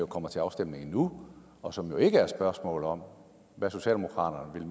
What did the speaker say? kommer til afstemning nu og som jo ikke er et spørgsmål om hvad socialdemokratiet